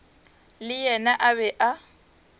le yena a be a